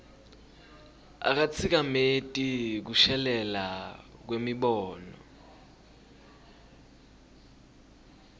akatsikameti kushelela kwemibono